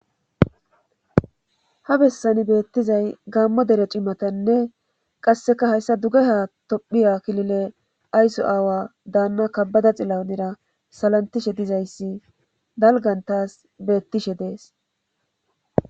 ha bessani beettizay gaammo dere cimatanne qasseka hayssa duge ha tophiya klile aysu aawa daanna kabbada xillaunira salantishe dizayssi dalgan taas beettishe dees